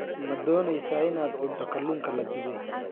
Ma doonaysaa in aad cunto kalluunka la dubay?